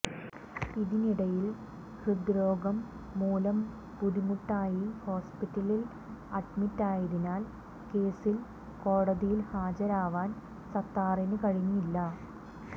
ഇതിനിടയിൽ ഹൃദ്രോഗം മൂലം ബുദ്ധിമുട്ട് ആയി ഹോസ്പിറ്റലിൽ അഡ്മിറ്റ് ആയതിനാൽ കേസിൽ കോടതിയിൽ ഹാജരാവാൻ സത്താറിന് കഴിഞ്ഞില്ല